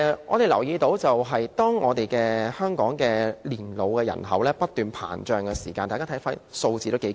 我留意到香港老年人口不斷膨脹，大家看看，數字頗為驚人。